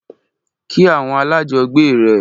Kí àwọn alájọgbe rẹ!